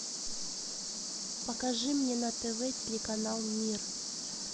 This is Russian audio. покажи мне на тв телеканал мир